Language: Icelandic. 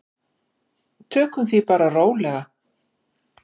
Tökum því bara rólega.